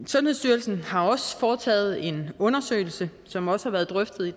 sundhedsstyrelsen har også foretaget en undersøgelse som også har været drøftet i